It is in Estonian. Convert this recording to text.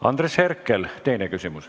Andres Herkel, teine küsimus.